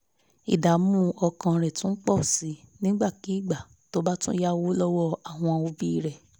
ìdààmú ọkàn rẹ̀ tún pọ̀ sí nígbàkigbà tó bá tún yáwó lọ́wọ́ àwọn òbí rẹ̀